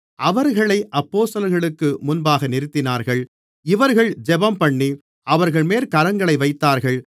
அவர்களை அப்போஸ்தலர்களுக்கு முன்பாக நிறுத்தினார்கள் இவர்கள் ஜெபம்பண்ணி அவர்கள்மேல் கரங்களை வைத்தார்கள்